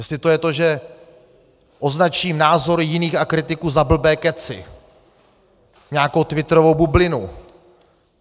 Jestli to je to, že označím názory jiných a kritiku za blbé kecy, nějakou twitterovou bublinu?